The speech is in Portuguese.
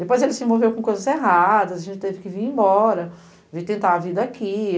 Depois ele se envolveu com coisas erradas, a gente teve que vir embora, vir tentar a vida aqui.